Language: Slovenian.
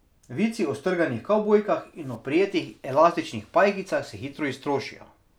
Vici o strganih kavbojkah in oprijetih elastičnih pajkicah se hitro iztrošijo.